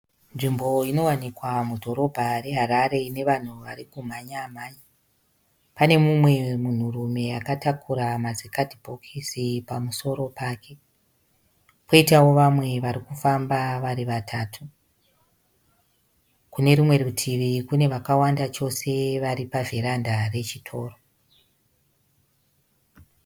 Nzvimbo inowanikwa mudhorobha reHarare ine vanhu vari kumhanyamhanya. Pane mumwe munhurume akatakura mazikadhibhokisi pamusoro pake, kwoitawo vamwe vari kufamba vari vatatu. Kune rumwe rutivi kune vakawanda chose vari pavheranda rechitoro.